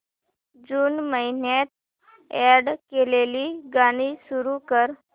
जून महिन्यात अॅड केलेली गाणी सुरू कर